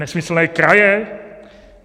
Nesmyslné kraje?